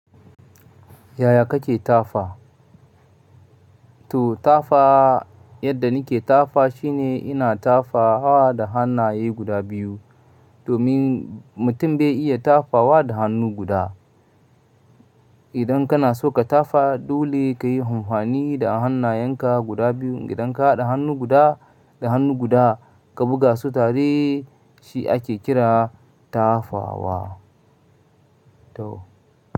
Yaya kake tafa? To tafa yadda nike tafa shine ina tafa wa da hannaye guda biyu domin mutum bai iya tafawa da hannu guda. Idan kana so ka tafa dole kayi amfani da hannayenka guda biyu. Idan ka haɗa hannu guda da hannu guda ka buga su tare shi ake kira tafawa. To.